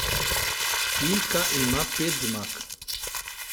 Ilka ima pet zmag.